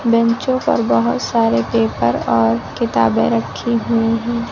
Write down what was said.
बेंचों पर बहोत सारे पेपर और किताबें रखी हुई हैं।